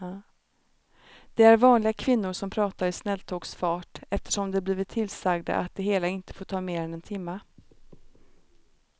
Det är vanliga kvinnor som pratar i snälltågsfart eftersom de blivit tillsagda att det hela inte får ta mer än en timme.